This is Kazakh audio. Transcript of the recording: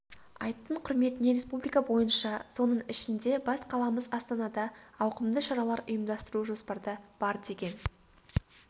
айттың құрметіне республика бойынша соның ішінде бас қаламыз астанада ауқымды шаралар ұйымдастыру жоспарда бар деген